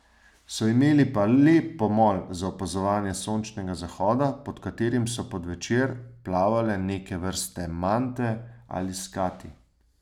So imeli pa lep pomol za opazovanje sončnega zahoda, pod katerim so pod večer plavale neke vrste mante ali skati.